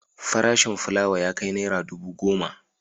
Farashin fulawa ya kai naira dubu goma.